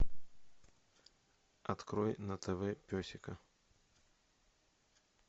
открой на тв песика